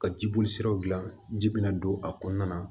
Ka jibolisiraw gilan ji bɛna don a kɔnɔna na